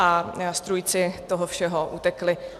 A strůjci toho všeho utekli.